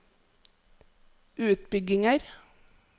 utbygginger